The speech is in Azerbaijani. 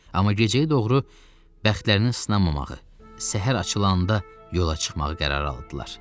Amma gecəyə doğru bəxtlərinin sınmamağı, səhər açılanda yola çıxmağı qərara aldılar.